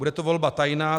Bude to volba tajná.